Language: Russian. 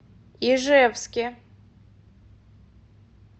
ижевске